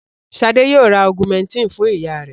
Ṣadé yóò ra Augumentin fún ìyá rẹ̀.